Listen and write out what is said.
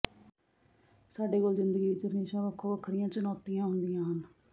ਸਾਡੇ ਕੋਲ ਜ਼ਿੰਦਗੀ ਵਿਚ ਹਮੇਸ਼ਾ ਵੱਖੋ ਵੱਖਰੀਆਂ ਚੁਣੌਤੀਆਂ ਹੁੰਦੀਆਂ ਹਨ